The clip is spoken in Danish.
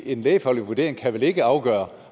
en lægefaglig vurdering kan vel ikke afgøre